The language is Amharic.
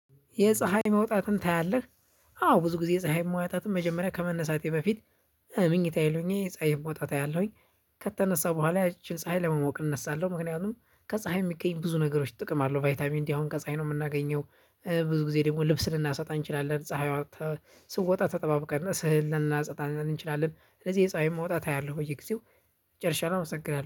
የፀሀይ መውጣትን ታያለህ? አዎ ብዙ ጊዜ የፀሀይ መውጣትን መጀመሪያ ከመነሳቴ በፊት ምኝታየ ላይ ሆኘ ፀሀይ መውጣት አያለሁኝ። ከተነሳው በኋላ ያቺን ፀሀይ ለመሞቅ እነሳለሁ ምክንያቱም ከፀሀይ የሚገኝ ብዙ ነገሮች ጥቅም አለው ቫይታሚን ዲ ከፀሀይ ነው የምናገኘው። ብዙ ጊዜ ደግሞ ልብስ ልናሰጣ እንችላለን ፀሀይዋ ስወጣ ተጠባብቀን እህል ልናሰጣ እንችላለን ስለዚህ የፀሀይን መውጣት አያለሁ በየጊዜው። ጨርሻለሁ አመሰግናለሁ